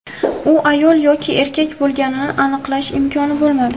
U ayol yoki erkak bo‘lganini aniqlash imkoni bo‘lmadi.